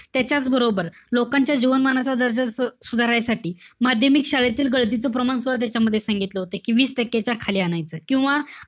त्याच्याचबरोबर लोकांच्या जीवनमानाचा दर्जा सुधारायसाठी माध्यमिक शाळेतील गळतीचं प्रमाण सुद्धा त्याच्यामध्ये सांगितलं होतं. कि वीस टक्केच्या खाली आणायचय. किंवा,